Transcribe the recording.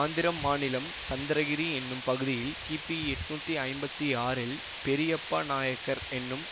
ஆந்திரம் மாநிலம் சந்திரகிரி என்னும் பகுதியில் கிபி எட்ணூத்தி ஐம்பத்தி ஆறில் பெரியப்பா நாயக்கர் என்னும்